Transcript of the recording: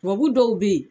Tubabu dɔw bɛ yen